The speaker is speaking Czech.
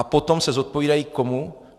A potom se zodpovídají komu?